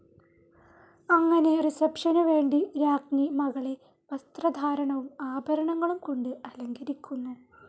അങ്ങനെ റിസെപ്ഷനു വേണ്ടി രാജ്ഞി മകളെ വസ്ത്രധാരണവും ആഭരങ്ങളും കൊണ്ട് അലങ്കരിക്കുന്നു.